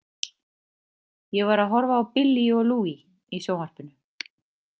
Ég var að horfa á Billie og Louis í sjónvarpinu